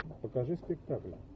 покажи спектакль